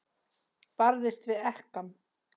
Barðist við ekkann.